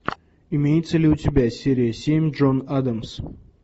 имеется ли у тебя серия семь джон адамс